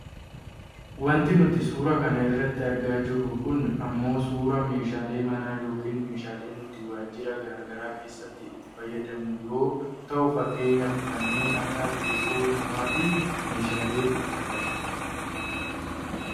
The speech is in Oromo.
wanti nuti suuraa kana irratti argaa jirru kun ammoo suuraa meeshaalee manaa yookaan meeshaaalee nuti waajira gara garaa keessatti itti fayyadamnu yoo ta'u fakkeenyaaf kanneen akka teessoo namaafi meeshaleetu argama